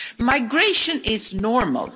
Migration is normal.